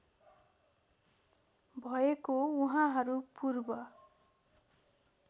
भएको उहाँहरू पूर्व